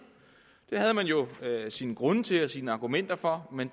det havde man jo sine grunde til og sine argumenter for men